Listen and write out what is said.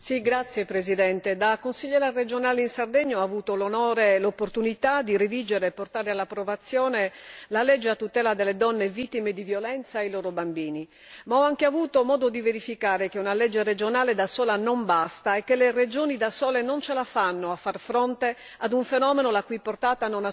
Da consigliere regionale in Sardegna ho avuto l'onore e l'opportunità di redigere e portare all'approvazione la legge a tutela delle donne vittime di violenza e dei loro bambini, ma ho anche avuto modo di verificare che una legge regionale da sola non basta e che le regioni da sole non ce la fanno a far fronte ad un fenomeno la cui portata non accenna a diminuire.